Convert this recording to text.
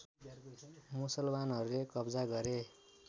मुसलमानहरूले कब्जा गरे